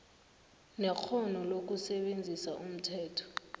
nekghono lokusebenzisa umthetho